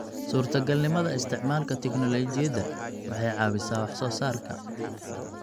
Suurtagalnimada isticmaalka tignoolajiyada waxay caawisaa wax soo saarka.